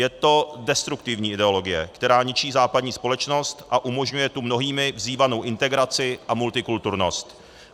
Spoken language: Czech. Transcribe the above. Je to destruktivní ideologie, která ničí západní společnost a umožňuje tu mnohými vzývanou integraci a multikulturnost.